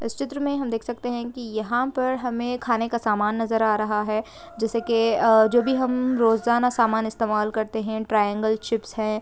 इस चित्र में हम देख सकते हैं की यहाँ पर हमे खाने का सामान नजर या रहा है जिसे के अ जो भी हम रोजाना सामान इस्तेमाल करते हैं ट्राइऐंगगल चिप्स है।